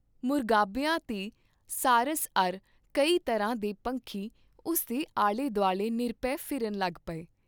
ਮੁਰਗਾਬੀਆਂ ਤੇ ਸਾਰਸ ਅਰ ਕਈ ਤਰ੍ਹਾਂ ਦੇ ਪੰਖੀ ਉਸ ਦੇ ਆਲੇ ਦੁਆਲੇ ਨਿਰਭੈ ਫਿਰਨ ਲੱਗ ਪਏ।